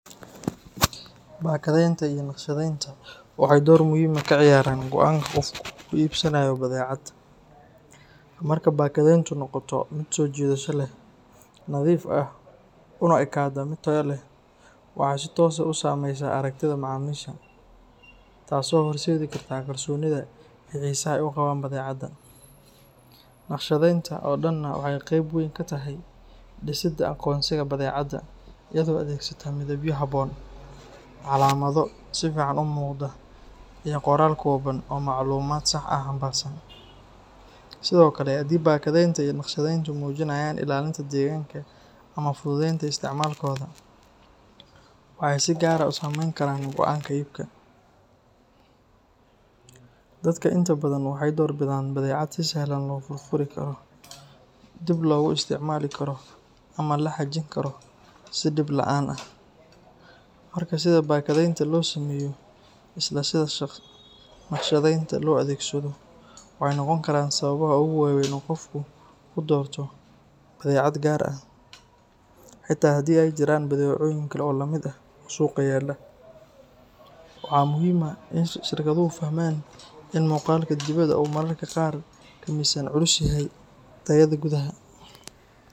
Bakadeynta iyo naqshadeynta waxay door muhiim ah ka ciyaaraan go’aanka qofku ku iibsanayo badeecad. Marka bakadeyntu noqoto mid soo jiidasho leh, nadiif ah, una ekaata mid tayo leh, waxay si toos ah u saamaysaa aragtida macaamiisha, taasoo horseedi karta kalsoonida iyo xiisaha ay u qabaan badeecadda. Naqshadeynta oo dhanna waxay qeyb weyn ka tahay dhisidda aqoonsiga badeecadda, iyadoo adeegsata midabyo habboon, calaamado si fiican u muuqda, iyo qoraal kooban oo macluumaad sax ah xambaarsan. Sidoo kale, haddii bakadeynta iyo naqshadeyntu muujinayaan ilaalinta deegaanka ama fududeynta isticmaalkooda, waxay si gaar ah u saameyn karaan go'aanka iibka. Dadka inta badan waxay door bidaan badeecad si sahlan loo furfuri karo, dib loogu isticmaali karo ama la xajin karo si dhib la’aan ah. Marka, sida bakadeynta loo sameeyo iyo sida naqshadeynta loo adeegsado waxay noqon karaan sababaha ugu waaweyn ee qofku ku doorto badeecad gaar ah, xitaa haddii ay jiraan badeecooyin kale oo lamid ah oo suuqa yaalla. Waxaa muhiim ah in shirkaduhu fahmaan in muuqaalka dibadda uu mararka qaar ka miisaan culus yahay tayada gudaha.